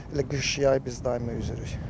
Elə qış-yay biz daimi üzürük.